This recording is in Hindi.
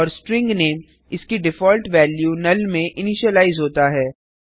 और स्ट्रिंग नामे इसकी डिफॉल्ट वैल्यू नल में इनिशिलाइज होता है